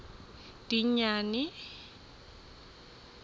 dingane